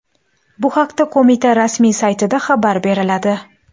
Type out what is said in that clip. Bu haqda qo‘mita rasmiy saytida xabar beriladi .